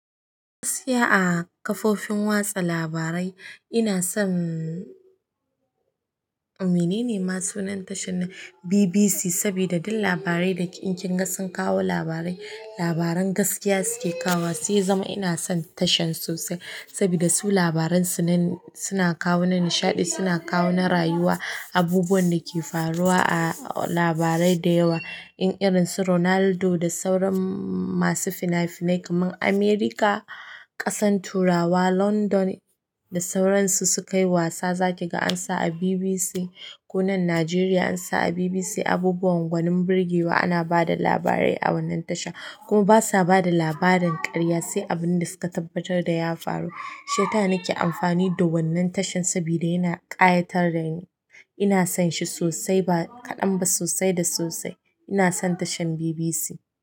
Gaskiya a kafofin watsa labarai ina son. Mine ne ma sunan tashar nan BBC saboda duk labarai da ke in kinga sun kawo labarai, labaran gaskiya suke kawo. Sai ya zama ina son tashan sosai saboda su labaransu nan suna kawo na nishaɗi, suna kawo na rayuwa, abubuwan da ke faruwa a labarai da yawa. In irin su Ronaldo da sauran masu finafinai kaman America, ƙasan turawa london da sauransu suka yi wasa za ki ga an sa a BBC ko nan Najeriya ansa a BBC, abubuwan gwanin birgewa ana ba da labarai a wannan tasha kuma basa ba da labarin karya sai abin da suka tabbatar da ya faru. Shiyasa na ke amfani da wannan tashar saboda yana ƙayatar dani, ina son shi sossai ba kaɗan ba sossai da sosaai.